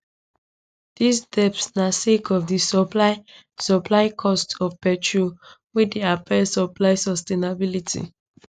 dis debt na sake of di supply supply costs of petrol wey dey affect supply sustainability